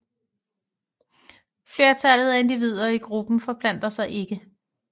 Flertallet af individer i gruppen forplanter sig ikke